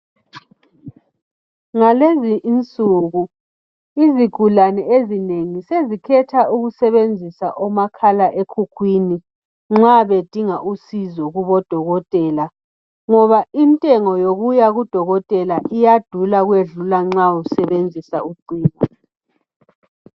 Ngalezi insuku izigulane ezinengi sezikhetha ukusebenzisa omakhala ekhukhwini nxa bedinga usizo kubodokotela ngoba intengo yokuya kudodokotela iyadula ukwedlula nxa usebenzisa ucingo.